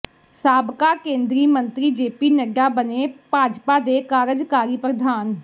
ਸਾਬਕਾ ਕੇਂਦਰੀ ਮੰਤਰੀ ਜੇਪੀ ਨੱਡਾ ਬਣੇ ਭਾਜਪਾ ਦੇ ਕਾਰਜਕਾਰੀ ਪ੍ਰਧਾਨ